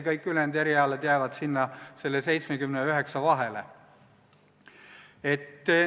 Kõik ülejäänud erialad jäävad kusagile selle 70% ja 9% vahele.